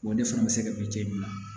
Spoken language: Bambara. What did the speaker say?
O de fana bɛ se ka bin na